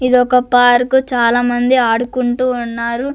ఇదొక పార్కు చాలామంది ఆడుకుంటూ ఉన్నారు.